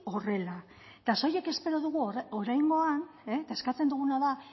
horrela eta soilik espero dugu oraingoan eta eskatzen duguna da